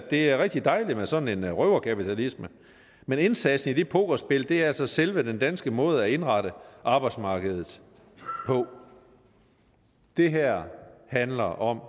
det er rigtig dejligt med sådan en røverkapitalisme men indsatsen i det pokerspil er altså selve den danske måde at indrette arbejdsmarkedet på det her handler om